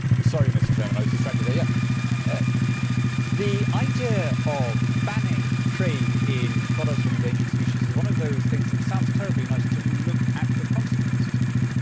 Mr President, the idea of banning trade in products from endangered species is one of those things that sounds terribly nice until you look at the consequences of it.